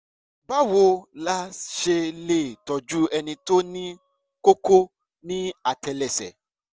báwo la ṣe lè tọ́jú ẹni tó ní kókó ní àtẹ́lẹsẹ̀?